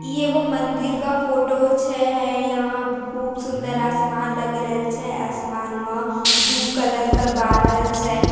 ई एगो मंदिर का फोटो छे है यहाँ खूब सुंदर आसमान लग रहल छे आसमान मा दु कलर के बादल छे।